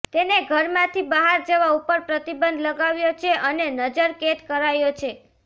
તેને ઘરમાંથી બહાર જવા ઉપર પ્રતિબંધ લગાવ્યો છે અને નજરકેદ કરાયો છે